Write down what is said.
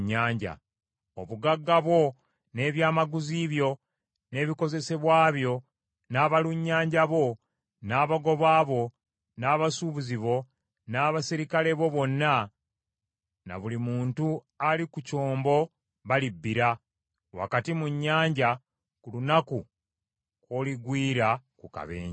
Obugagga bwo n’ebyamaguzi byo n’ebikozesebwa byo, n’abalunnyanja bo, n’abagoba bo, n’abasuubuzi bo n’abaserikale bo bonna na buli muntu ali ku kyombo balibbira wakati mu nnyanja ku lunaku kw’oligwiira ku kabenje.